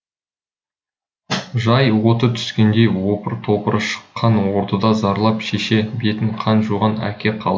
жай оты түскендей опыр топыры шыққан ордада зарлап шеше бетін қан жуған әке қал